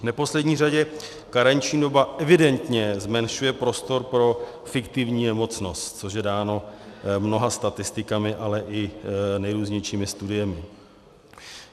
V neposlední řadě karenční doba evidentně zmenšuje prostor pro fiktivní nemocnost, což je dáno mnoha statistikami, ale i nejrůznějšími studiemi.